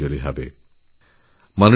একটি ফোন কলআসে আমার কাছে